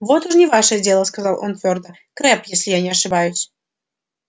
вот уж не ваше дело сказал он твёрдо крэбб если я не ошибаюсь